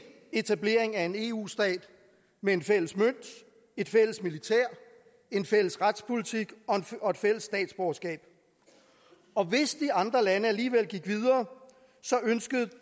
etablering af en eu stat med en fælles mønt et fælles militær en fælles retspolitik og et fælles statsborgerskab og hvis de andre lande alligevel gik videre ønskede